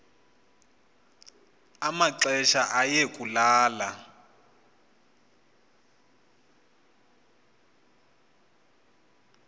amaxesha aye kulala